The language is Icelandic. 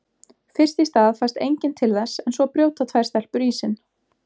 Fyrst í stað fæst enginn til þess en svo brjóta tvær stelpur ísinn.